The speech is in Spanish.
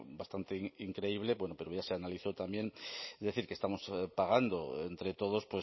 bastante increíble pero bueno ya se analizó también es decir que estamos pagando entre todos